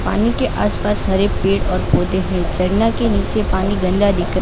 पानी के आस पास हरे पेड़ और पौधे हैं झरना के नीचे पानी गंदा दिखना--